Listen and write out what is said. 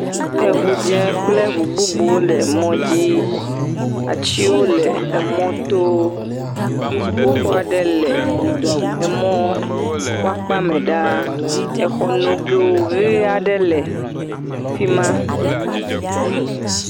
Eŋudze..ƒ..kple ŋu bubuwo le mɔ dzi, atiwo le emɔto, dziƒoxɔ aɖe le emɔ ƒe akpa me ɖaa, exɔ nogo ʋe aɖe le fi ma